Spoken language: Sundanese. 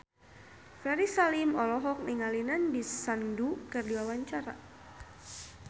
Ferry Salim olohok ningali Nandish Sandhu keur diwawancara